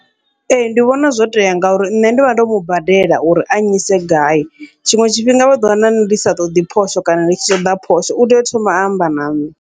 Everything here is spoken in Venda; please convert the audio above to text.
Ee, ndi vhona zwo tea ngauri nṋe ndivha ndo mubadela uri a nnyise gai, tshiṅwe tshifhinga vha ḓo wana ndi sa ṱoḓi phosho kana nditshi ṱoḓa phosho utea u thoma a amba na ṋne.